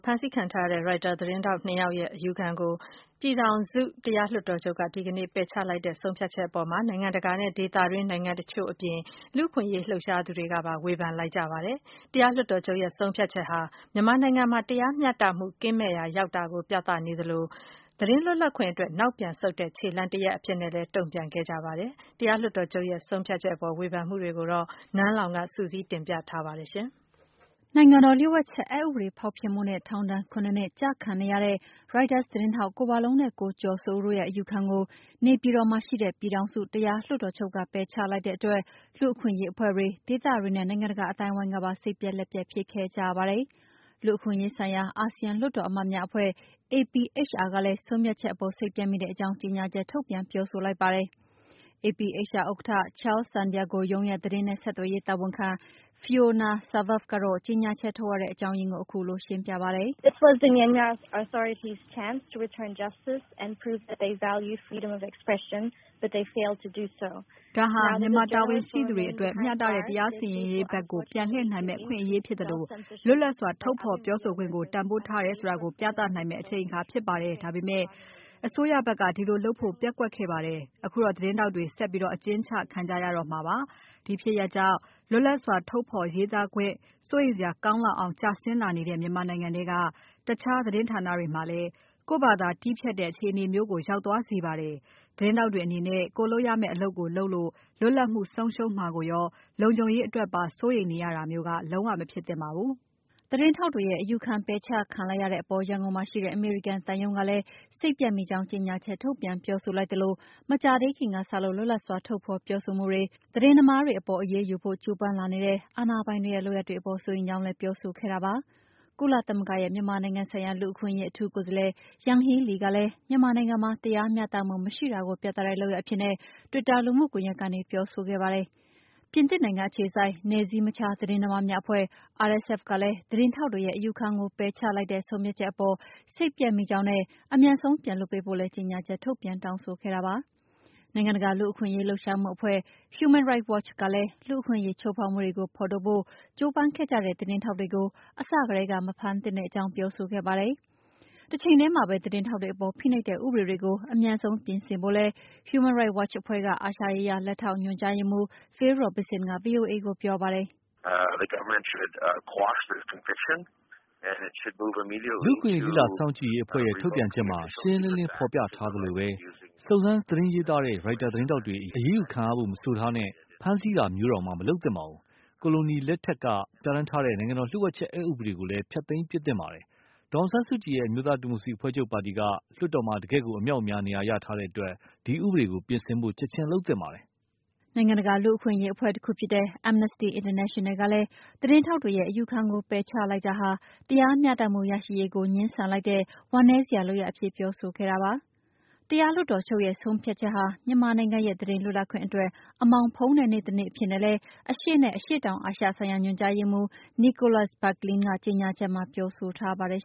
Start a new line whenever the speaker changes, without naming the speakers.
ဖမ်းဆီးခံထားရတဲ့ Reuters သတင်းထောက် ၂ ယောက်ရဲ့ အယူခံကို ပြည်ထောင်စု တရားလွှတ်တော်ချုပ်က ဒီကနေ့ ပယ်ချလိုက်တဲ့ ဆုံးဖြတ်ချက်အပေါ် နိုင်ငံတကာနဲ့ ဒေသတွင်းနိုင်ငံ တချို့အပြင် လူ့အခွင့်အရေး လှုပ်ရှားသူတွေကပါ ဝေဖန်လိုက်ကြပါတယ်။ တရားလွှတ်တော်ချုပ်ရဲ့ ဆုံးဖြတ်ချက်ဟာ မြန်မာနိုင်ငံမှာ တရားမျှတမှု ကင်းမဲ့ရာရောက်တာကို ပြသနေသလို၊ သတင်းလွတ်လပ်ခွင့်အတွက် နောက်ပြန်ဆုတ်တဲ့ ခြေလှမ်းတခု အဖြစ်နဲ့လည်း တုံ့ပြန်ခဲ့ကြတာပါ။ တရားလွှတ်တော်ချုပ်ရဲ့ ဆုံးဖြတ်ချက်အပေါ် ဝေဖန်မှုတွေကိုတော့ နန်းလောင်ဝ်က စုစည်းတင်ပြထားပါတယ်။
နိုင်ငံတော် လျှို့ဝှက်ချက်အက်ဥပဒေ ဖောက်ဖျက်မှုနဲ့ ထောင်ဒဏ် ၇နှစ် ကျခံနေရတဲ့ Reuters သတင်းထောက် ကိုဝလုံးနဲ့ ကိုကျော်စိုးဦးတို့ရဲ့ အယူခံကို နေပြည်တော်မှာရှိတဲ့ ပြည်ထောင်စု တရားလွှတ်တော်ချုပ်က ပယ်ချလိုက်တဲ့အတွက်၊ လူ့အခွင့်အရေး အဖွဲ့တွေ၊ ဒေသတွင်းနဲ့ နိုင်ငံတကာ အသိုင်းအဝန်းကပါ စိတ်ပျက်လက်ပျက် ဖြစ်ခဲ့ကြတာပါ။ လူ့အခွင့်အရေးဆိုင်ရာ အာဆီယံလွှတ်တော်အမတ်များအဖွဲ့ APHR ကလည်း ဆုံးဖြတ်ချက်အပေါ် စိတ်ပျက်မိတဲ့အကြောင်း ကြေညာချက် ထုတ်ပြန်ပြောဆိုလိုက်ပါတယ်။ APHR ဥက္ကဋ္ဌ Charles Santiago ရုံးရဲ့ သတင်းနဲ့ ဆက်သွယ်ရေးတာဝန်ခံ Fiona Serves ကတော့ ကြေညာချက် ထုတ်ရတဲ့ အကြောင်းရင်းကို အခုလို ရှင်းပြပါတယ်။ " ဒါဟာမြန
်မာ တာဝန်ရှိသူတွေအနေနဲ့ မျှတတဲ့ တရားစီရင်ရေးဘက်ကို ပြန်လှည့်နိုင်မယ့် အခွင့်အရေး ဖြစ်သလို လွတ်လပ်စွာထုတ်ဖော်ခွင့်ကို တန်ဖိုးထားတာကို ပြသနိုင်မယ့် အချိန်အခါဖြစ်ပေမယ့် အစိုးရဘက်က ဒီလိုလုပ်ဖို့ ပျက်ကွက်ခဲ့ပါတယ်။ ခုတော့ သတင်းထောက်တွေ ဆက်ပြီး အကျဉ်းခံ ကြရတော့မှာပါ။ ဒီဖြစ်ရပ်ကြောင့် လွတ်လပ်စွာ ထုတ်ဖော်ရေးသားခွင့်နဲ့ ပတ်သက်ပြီး စိုးရိမ်စရာ ကောင်းလောက်အောင် ကျဆင်းလာနေတဲ့ မြန်မာနိုင်ငံထဲက အခြားသတင်းဌာနတွေမှာလည်း ကိုယ့်ဘာသာ တည်းဖြတ်တဲ့ အခြေအနေမျိုးရောက်သွားစေပါတယ်။ သတင်းထောက်တွေအနေနဲ့ ကိုယ်လုပ်ရမယ့် အလုပ်ကို လုပ်ရုံနဲ့ လွတ်လပ်မှုဆုံးရှုံးမှာကိုရော လုံခြုံရေး
အတွက်ပါ စိုးရိမ်နေရတာမျိုး မဖြစ်သင့်ပါဘူး။" သတင်းထောက်တွေရဲ့ အယူခံပယ်ချခံလိုက်ရတဲ့အပေါ် ရန်ကုန်မှာရှိတဲ့ အမေရိကန် သံရုံးကလည်း စိတ်ပျက်မိကြောင်း ကြေညာချက်ထုတ်ပြန် ပြောဆိုလိုက်သလို၊ မကြာသေးခင်ကစလို့ လွတ်လပ်စွာထုတ်ဖော်ပြောဆိုမှုတွေ သတင်းသမားတွေအပေါ် အရေးယူဖို့ ကြိုးပမ်းလာနေတဲ့ အာဏာပိုင်တွေရဲ့ လုပ်ရပ်တွေအပေါ် စိုးရိမ်ကြောင်းလည်း ပြောဆိုခဲ့တာပါ။ ကုလသမဂ္ဂရဲ့ မြန်မာနိုင်ငံဆိုင်ရာ လူ့အခွင့်အရေး အထူးကိုယ်စားလှယ် Yanghee Lee ကလည်း မြန်မာနိုင်ငံမှာ တရားမျှတမှု မရှိတာကို ပြသတဲ့ လုပ်ရပ်အဖြစ်နဲ့ Twitter လူမှုကွန်ရက်ကနေ ပြောဆိုခဲ့ပါတယ်။ ပြင်သစ်နိုင်ငံ အခြေစိုက် နယ်စည်းမခြား သတင်းသမားများအဖွဲ့ (RSF) ကလည်း သတင်းထောက်တွေ ရဲ့အယူခံကို ပယ်ချလိုက်တဲ့ ဆုံးဖြတ်ချက်အပေါ် စိတ်ပျက်မိကြောင်းနဲ့ အမြန်ဆုံး ပြန်လွှတ်ပေးဖို့လည်း ကြေညာချက်ထုတ်ပြန် တောင်းဆိုခဲ့တာပါ။ နိုင်ငံတကာ လူ့အခွင့်အရေး လှုပ်ရှားမှုအဖွဲ့ Human Rights Watch ကလည်း လူ့အခွင့်အရေး ချိုးဖောက်မှုတွေကို ဖော်ထုတ်ဖို့ ကြိုးပမ်းခဲ့ကြတဲ့ သတင်းထောက်တွေကို အစကတည်းက မဖမ်းသင့်ကြောင်း ပြောဆိုခဲ့ပါတယ်။ တချိန်တည်းမှာပဲ သတင်းထောက်တွေအပေါ် ဖိနှိပ်တဲ့ ဥပဒေတွေကို အမြန်ဆုံးပြင်ဆင်ဖို့လည်း Human Rights Watch အဖွဲ့က အာရှရေးရာ လက်ထောက်ညွှန်ကြားရေးမှူး Phil Robertson က VOA ကိုပြောပါတယ်
။ "လ
ူ့အခွင့်အရေး လေ့လာစောင့်ကြည့်ရေးအဖွဲ့ရဲ့ထုတ်ပြန်ချက်မှာ ရှင်းရှင်းလင်းလင်း ဖော်ပြထားသလိုပဲ စုံစမ်းသတင်းရေးသား တဲ့ ရိုက်တာသတင်းထောက်တွေ အရေးယူခံရဖို့ မဆိုထားနဲ့ ဖမ်းဆီးတာမျိုးတောင် မလုပ်သင့်ပါဘူး။ ကိုလိုနီလက်ထက်က ပြဌာန်းထားတဲ့ နိုင်ငံတော်လျှို့ဝှက်ချက် ဥပဒေကိုလည်း ဖျက်သိမ်းပစ်သင့်ပါတယ်။ ဒေါ်အောင်ဆန်းစုကြည်ရဲ့ အမျိုးသား ဒီမိုကရေစီအဖွဲ့ချုပ် ပါတီက လွှတ်တော်မှာ တကယ့်ကို အမြောက်အများ နေရာရထားတဲ့အတွက် ဒီဥပဒေကို ပြင်ဆင်ဖို့ ချက်ချင်းလုပ်သင့်ပါတယ်။
" နိုင်ငံတကာ လူ့အခွင့်အရေး အဖွဲ့တခုဖြစ်တဲ့ Amnesty International ကလည်း သတင်းထောက်တွေရဲ့ အယူခံကို ပယ်ချလိုက်တာဟာ တရားမျှတမှုရရှိရေးကို ငြင်းဆန်တဲ့ ဝမ်းနည်းစရာ လုပ်ရပ်အဖြစ် ပြောဆိုခဲ့တာပါ။ တရားလွှတ်တော်ချုပ်ရဲ့ ဆုံးဖြတ်ချက်ဟာ မြန်မာနိုင်ငံရဲ့ သတင်းလွတ်လပ်ခွင့်အတွက် အမှောင်ဖုံးတဲ့ နေ့တနေ့အဖြစ်နဲ့လည်း အရှေ့နဲ့ အရှေ့တောင်အာရှဆိုင်ရာ ညွှန်ကြားရေးမှူး Nicholas Bequelin ကကြေညာချက်မှာ ပြောဆိုထားပါတယ်